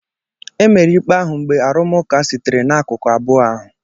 Emere ikpe ahụ mgbe arụmụka sitere n'akụkụ abụọ ahụ